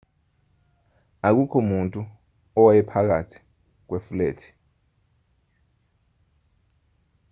akukho muntu owayephakathi kwefulethi